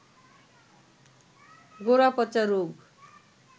গোড়াপচা রোগ